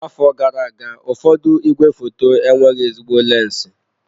Afọ gara aga, ụfọdụ igwefoto enweghị ezigbo lensi.